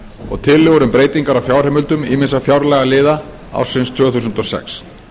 og tillögur um breytingar á fjárheimildum ýmissa fjárlagaliða ársins tvö þúsund og sex